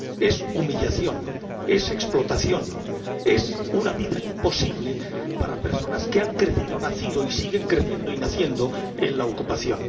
Es humillación, es explotación, es una vida imposible para personas que han crecido, nacido y siguen creciendo y naciendo en la ocupación.